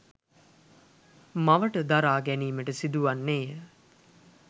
මවට දරා ගැනීමට සිදුවන්නේය.